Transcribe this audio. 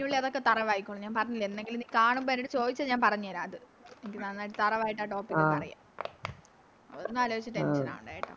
അതിനുള്ളി അതൊക്കെ Thorough ആയിക്കോളും ഞാൻ പറഞ്ഞില്ലേ എന്നെങ്കിലും നീ കാണുമ്പോ എൻറെടുത്ത് ചോയിച്ചാൽ ഞാൻ പറഞ്ഞ് തരാം അത് നന്നായിട്ട് Thorough ആയിട്ട് ആ Topic പറയാം അതൊന്നും ആലോയിച്ച് Tension ആവണ്ട കേട്ടോ